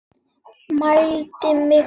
Mældi mig út.